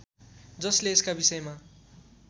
जसले यसका विषयमा